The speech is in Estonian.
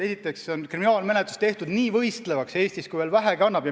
Esiteks on kriminaalmenetlus Eestis tehtud nii võistlevaks, kui vähegi annab.